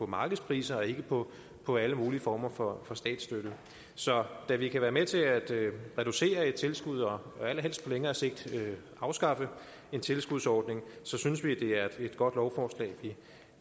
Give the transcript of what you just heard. markedspriser og ikke på på alle mulige former for statsstøtte så da det kan være med til at reducere et tilskud og allerhelst på længere sigt afskaffe en tilskudsordning synes vi det er et godt lovforslag